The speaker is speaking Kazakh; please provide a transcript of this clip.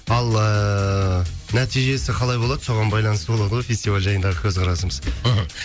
ал ыыы нәтижесі қалай болады соған байланысты болады ғой фестиваль жайындағы көзқарасымыз мхм